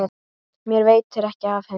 Mér veitir ekki af henni.